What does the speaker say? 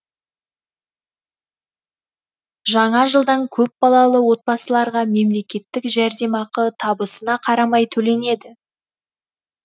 жаңа жылдан көпбалалы отбасыларға мемлекеттік жәрдемақы табысына қарамай төленеді